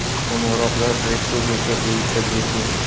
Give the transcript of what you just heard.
Qo‘ng‘iroqlar respublika bo‘yicha bepul.